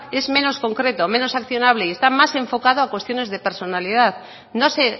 es menos concreto menos accionable y está más enfocado a cuestiones de personalidad no se